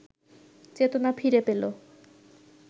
চেতনা ফিরে পেল